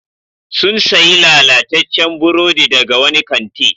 Sun sayi lalataccen burodi daga wani kanti.